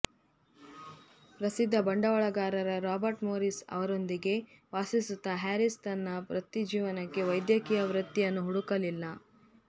ಪ್ರಸಿದ್ಧ ಬಂಡವಾಳಗಾರ Robert Morris ಅವರೊಂದಿಗೆ ವಾಸಿಸುತ್ತಾ ಹ್ಯಾರಿಸ್ ತನ್ನ ವೃತ್ತಿಜೀವನಕ್ಕೆ ವೈದ್ಯಕೀಯ ವೃತ್ತಿಯನ್ನು ಹುಡುಕಲಿಲ್ಲ